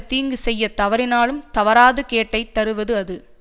தீங்கு செய்ய தவறினாலும் தவறாது கேட்டை தருவது அது